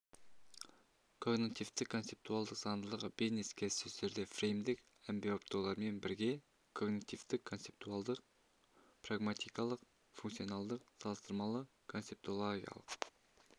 когнитивтік-концептуалдық заңдылығы бизнес-келіссөздерді фреймдік әмбебаптаулармен бірге когнитивтік-концептуалдық прагматикалық-функционалдық салыстырмалы-концептологиялық